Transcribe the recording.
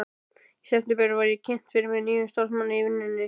Í september var ég kynnt fyrir nýjum starfsmanni í vinnunni.